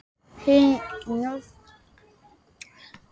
Þín nafna Sólveig María.